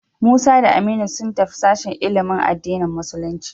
Musa da Aminu sun tafi sashen ilimin addinin musulunci.